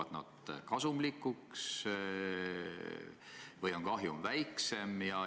Kas nad muutuvad kasumlikuks või on kahjum väiksem?